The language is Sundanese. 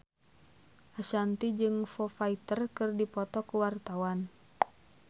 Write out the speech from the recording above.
Ashanti jeung Foo Fighter keur dipoto ku wartawan